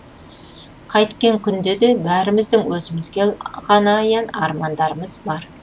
қайткен күнде де бәріміздің өзімізге ғана аян армандарымыз бар